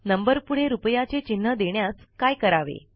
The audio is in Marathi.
नंबरपुढे रूपयाचे चिन्ह देण्यास काय करावे